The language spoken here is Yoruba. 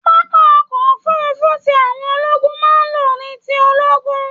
Pápá ọkọ òfurùnfu tí àwọn ológun máa n ló ní ti ológun.